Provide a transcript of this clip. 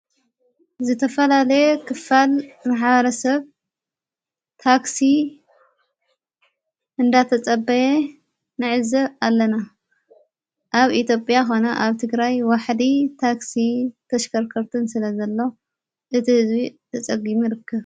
ዝተፋላለየ ኽፋል ማሕበረሰብ ታክሢ እንዳተጸበየ ነዕዘ ኣለና ኣብ ኢኣጴያ ኾነ ኣብ ቲ ግራይ ዋሕዲ ታክሥ ተሽከርከርትን ስለ ዘለ እቲ ሕዝቢ ተጸጕሚ ይርከብ